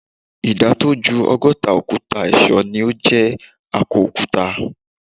Ìdá tó ju ọgọ́ta òkúta ẹ̀ṣọ́ ni o jé akọ òkúta.